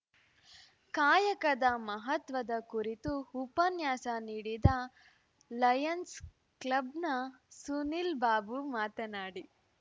ಕಾಯಕದ ಮಹತ್ವದ ಕುರಿತು ಉಪನ್ಯಾಸ ನೀಡಿದ ಲಯನ್ಸ್ ಕ್ಲಬ್‌ನ ಸುನಿಲ್ ಬಾಬು ಮಾತನಾಡಿ